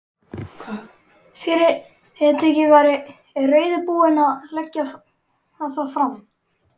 Fyrirtækið væri reiðubúið að leggja það fram.